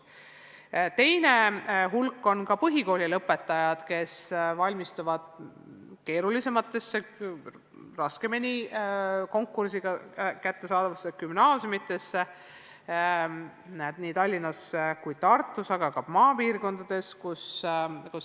Teise hulga moodustavad põhikooli lõpetajad, kes valmistuvad tihedama konkursiga gümnaasiumitesse astumiseks – nii Tallinnas, Tartus kui ka maapiirkondades.